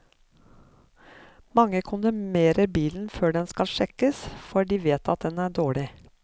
Mange kondemnerer bilen før den skal sjekkes, for de vet at den er dårlig.